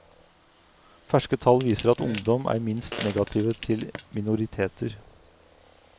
Ferske tall viser at ungdom er minst negative til minoriteter.